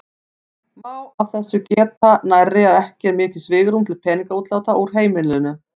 Má af þessu geta nærri að ekki er mikið svigrúm til peningaútláta úr heimilinu.